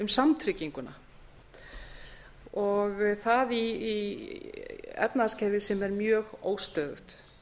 um samtrygginguna og það í efnahagskerfi sem er mjög óstöðugt